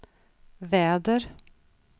väder